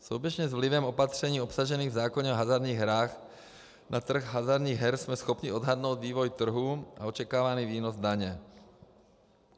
Souběžně s vlivem opatření obsažených v zákoně o hazardních hrách na trh hazardních her jsme schopni odhadnout vývoj trhu a očekávaný výnos daně.